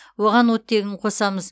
оған оттегін қосамыз